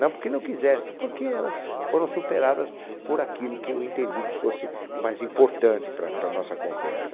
Não porque não quisesse, porque elas foram superadas por aquilo que eu entendi que fosse mais importante para para a nossa conversa.